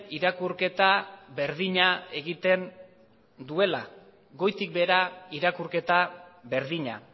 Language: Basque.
irakurketa berdina egiten duela goitik behera irakurketa berdina